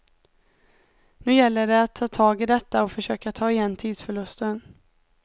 Nu gäller det att ta tag i detta och försöka ta igen tidsförlusten.